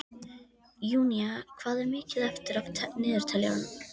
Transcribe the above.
Júnía, hvað er mikið eftir af niðurteljaranum?